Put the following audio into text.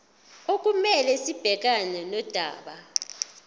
okumele sibhekane nodaba